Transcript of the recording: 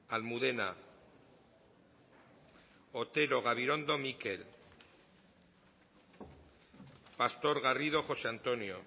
almudena otero gabirondo mikel pastor garrido josé antonio